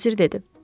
Bosir dedi.